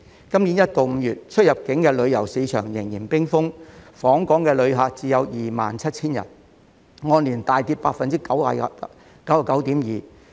今年1月至5月出入境旅遊市場仍然冰封，訪港旅客只有 27,000 人，按年大跌 99.2%。